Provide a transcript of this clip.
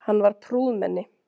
Hann var prúðmenni.